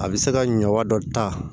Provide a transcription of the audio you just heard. A bɛ se ka ɲɔ wa dɔ ta